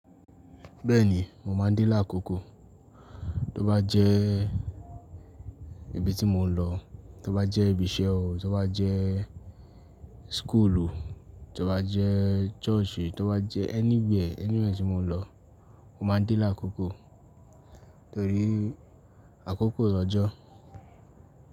Bẹ́ẹ̀ni, mo máa ń de láàkókò. Tó bá jẹ́ ibi tí mò ń lọ, tó bá jẹ́ ibi iṣẹ́ o, tó bá jẹ́ school o, tó bá jẹ́ church, tó bá jẹ́ anywhere, anywhere tí mò ń lọ, mo máa ń de láàkókò torí àkókò lọ́jọ́.